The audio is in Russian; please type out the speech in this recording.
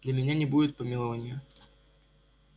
для меня не будет помилования